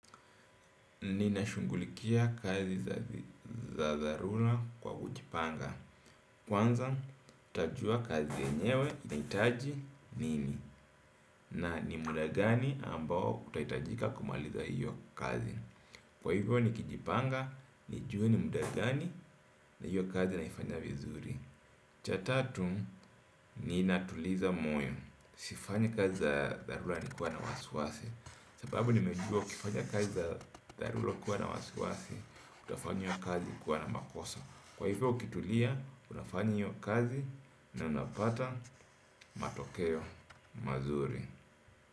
Ninashungulikia kazi za dharura kwa kujipanga. Kwanza, ntajua kazi enyewe ni taji nini. Na ni muda gani ambao utaitajika kumaliza hiyo kazi. Kwa hivyo ni kijipanga, nijue ni muda gani na hiyo kazi naifanya vizuri. Cha tatu, ninatuliza moyo. Sifanyanyi kazi za dharura nikiwa na wasiwasi. Sababu nimejua ukifanya kazi za dharura kuwa na wasiwasi. Utafanya iyo kazi kwa makosa. Kwa hivyo ukitulia unafanya iyo kazi. Na unapata matokeo mazuri.